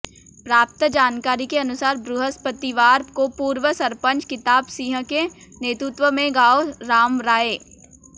प्राप्त जानकारी के अनुसार बृहस्पतिवार को पूर्व सरपचं किताब सिंह के नेतृत्व में गांव रामराये